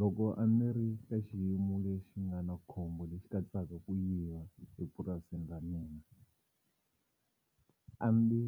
Loko a ni ri ka xiyimo lexi nga na khombo lexi katsaka ku yiva epurasini ra mina a ndzi